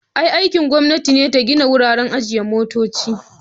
Aikin gwamnati ne ta gina wuraren ajiye motoci.